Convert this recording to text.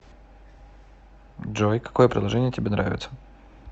джой какое приложение тебе нравится